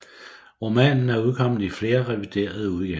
Romanen er udkommet i flere reviderede udgaver